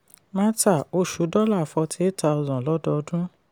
marta: oṣù dollar forty eight thousand lọ́dọọdún.